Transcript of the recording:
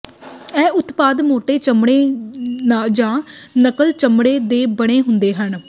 ਇਹ ਉਤਪਾਦ ਮੋਟੇ ਚਮੜੇ ਜ ਨਕਲ ਚਮੜੇ ਦੇ ਬਣੇ ਹੁੰਦੇ ਹਨ